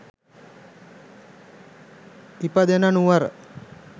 ඉපදෙන නුවර